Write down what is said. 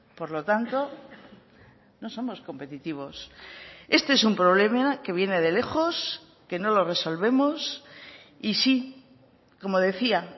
por lo tanto no somos competitivos este es un problema que viene de lejos que no lo resolvemos y si como decía